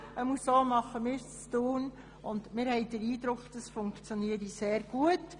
So machen wir es in Thun, und wir haben den Eindruck, das funktioniere sehr gut.